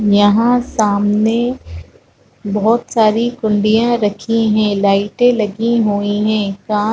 यहाँ सामने बहोत सारी कुंडियाँ रखी है लाइटें लगी हुई है काँच--